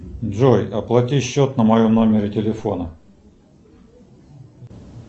джой оплати счет на моем номере телефона